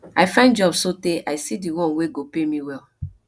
i find job sotee i see di one wey go pay me well